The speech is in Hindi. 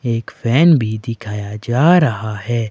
एक फैन भी दिखाया जा रहा है।